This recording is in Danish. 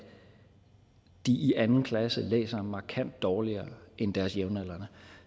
de i anden klasse læser markant dårligere end deres jævnaldrende